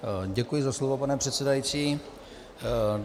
Děkuji za slovo, pane předsedající.